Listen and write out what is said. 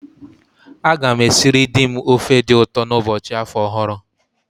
A gam esịrị di m ofe di ụtọ n'ụbọchị afọ ọhụrụ